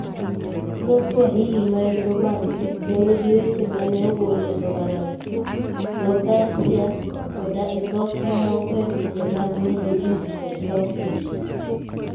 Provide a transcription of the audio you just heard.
Dho Swahili, ma en dho Bantu, ne nigi weche ma ne ogol e dho Arabu, dho Persia, koda e dhok mamoko e pinje mag Middle East kod South Asia.